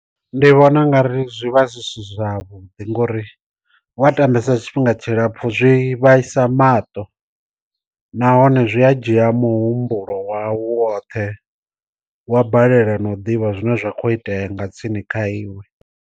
Ndi vhona ungari zwi vha zwi si zwavhuḓi ngori wa tambesa tshifhinga tshilapfhu zwi vhaisa mato nahone zwi a dzhia muhumbulo wau woṱhe wa balelwa na u ḓivha zwine zwa khou itea nga tsini kha iwe.